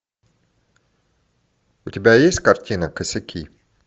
у тебя есть картина косяки